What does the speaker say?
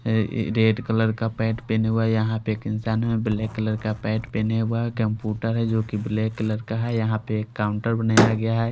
यहाँ एक red colour का पेंट पहने हुए है यहाँ पर एक इंसान है ब्लैक कलर का पेंट पहने हुए है कंप्यूटर है जो की ब्लैक कलर का है यहाँ पर एक काउंटर बनाया गया है।